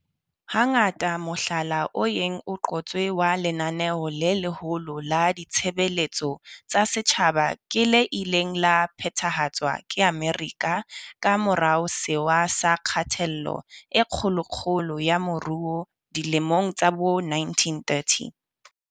Hangata mohlala o yeng o qotswe wa lenaneo le leholo la ditshebeletso tsa setjhaba. Ke le ileng la phethahatswa ke Amerika ka morao Sewa sa Kgatello e Kgolokgolo ya Moruo dilemong tsa bo1930.